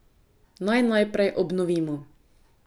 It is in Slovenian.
Naj najprej obnovimo.